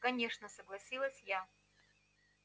конечно согласилась я